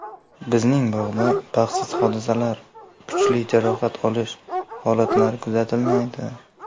Bizning bog‘da baxtsiz hodisalar, kuchli jarohat olish holatlari kuzatilmaydi.